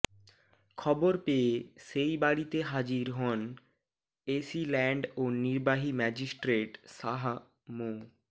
খবর পেয়ে সেই বাড়িতে হাজির হন এসিল্যান্ড ও নির্বাহী ম্যাজিস্ট্রেট শাহ মো